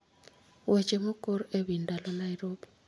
Weche mokor e wi ndalo Nairobi